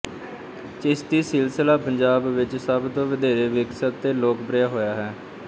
ਚਿਸ਼ਤੀ ਸਿਲਸਿਲਾ ਪੰਜਾਬ ਵਿੱਚ ਸਭ ਤੋਂ ਵਧੇਰੇ ਵਿਕਸਿਤ ਤੇ ਲੋਕਪ੍ਰਿਆ ਹੋਇਆ